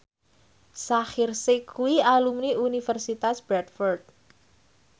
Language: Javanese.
Shaheer Sheikh kuwi alumni Universitas Bradford